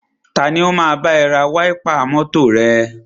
Tani o máa bá ẹ ra wáípà mọ́tọ̀ rẹ?